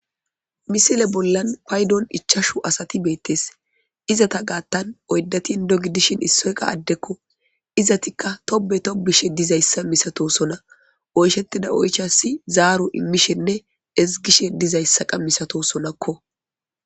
Miisiile bollan payddon ichchachu assati betees izetta gattan oydati inddo gidishshin issoyka adekko izeriika toobe tobishshe dizayssa miisatoossona oychchetidda oychchassi zaro imiishshenne ezigishshe dizayssaka miisatosonakko